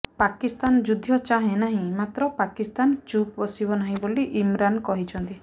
ପାକିସ୍ତାନ ଯୁଦ୍ଧ ଚାହେଁ ନାହିଁ ମାତ୍ର ପାକିସ୍ତାନ ଚୁପ୍ ବସିବ ନାହିଁ ବୋଲି ଇମରାନ୍ କହିଛନ୍ତି